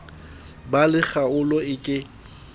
ba le kgaolo e ke